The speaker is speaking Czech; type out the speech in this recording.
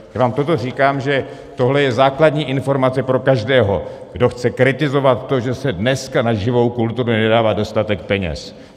Já vám toto říkám, že tohle je základní informace pro každého, kdo chce kritizovat to, že se dneska na živou kulturu nedává dostatek peněz.